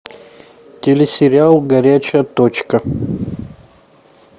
телесериал горячая точка